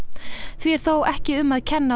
því er þó líklega ekki um að kenna